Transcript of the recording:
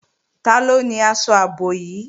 Taló ni aṣọ ààbò yìí?